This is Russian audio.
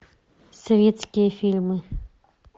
советские фильмы